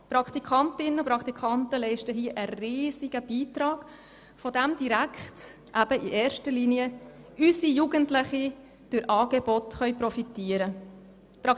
Die Praktikantinnen und Praktikanten leisten einem riesigen Beitrag, wovon unsere Jugendlichen in erster Linie durch Angebote profitieren können.